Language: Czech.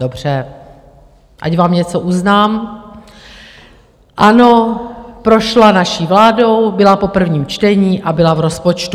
Dobře, ať vám něco uznám, ano, prošla naší vládou, byla po prvním čtení a byla v rozpočtu.